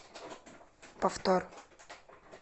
повтор